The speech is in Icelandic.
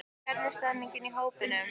Hvernig stemmningin í hópnum?